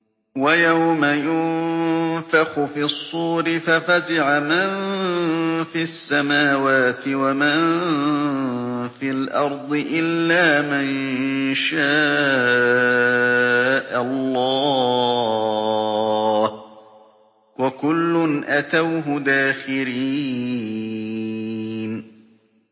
وَيَوْمَ يُنفَخُ فِي الصُّورِ فَفَزِعَ مَن فِي السَّمَاوَاتِ وَمَن فِي الْأَرْضِ إِلَّا مَن شَاءَ اللَّهُ ۚ وَكُلٌّ أَتَوْهُ دَاخِرِينَ